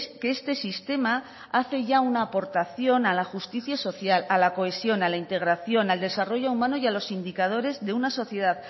que este sistema hace ya una aportación a la justicia social a la cohesión a la integración al desarrollo humano y a los indicadores de una sociedad